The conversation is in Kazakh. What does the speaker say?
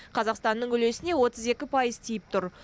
қазақстанның үлесіне отыз екі пайыз тиіп тұр